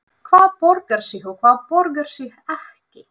Hvað borgar sig og hvað borgar sig ekki?